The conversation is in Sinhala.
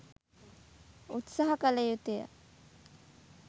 උත්සහ කළ යුතු ය